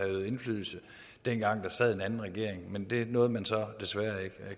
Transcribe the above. øvet indflydelse dengang der sad en anden regering men det nåede man så desværre ikke